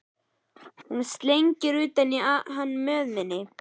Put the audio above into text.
Hún slengir utan í hann mjöðminni.